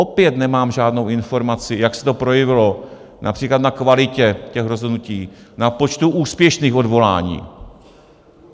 Opět nemám žádnou informaci, jak se to projevilo například na kvalitě těch rozhodnutí, na počtu úspěšných odvolání;